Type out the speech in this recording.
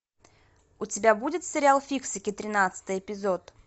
у тебя будет сериал фиксики тринадцатый эпизод